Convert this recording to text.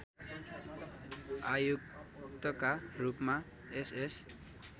आयुक्तका रूपमा एसएस